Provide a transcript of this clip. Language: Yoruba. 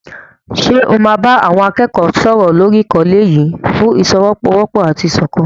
Ṣé o máa bá àwọn akẹ́kọ̀ọ́ náà sọ̀rọ̀ lórí àkọlé yìí "ìfọ́wọ́sọwọ́pọ̀ àti ìṣọ̀kan"?